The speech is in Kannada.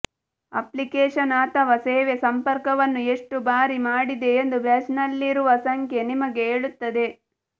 ಅಪ್ಲಿಕೇಶನ್ ಅಥವಾ ಸೇವೆ ಸಂಪರ್ಕವನ್ನು ಎಷ್ಟು ಬಾರಿ ಮಾಡಿದೆ ಎಂದು ಬ್ಯಾಡ್ಜ್ನಲ್ಲಿರುವ ಸಂಖ್ಯೆ ನಿಮಗೆ ಹೇಳುತ್ತದೆ